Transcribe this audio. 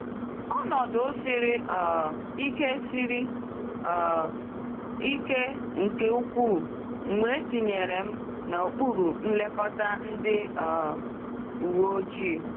Ọnọdụ siri um ike siri um ike nke ukwuu mgbe etinyere m n’okpuru nlekọta ndị um uweojii.